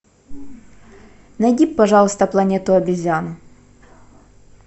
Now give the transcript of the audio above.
найди пожалуйста планету обезьян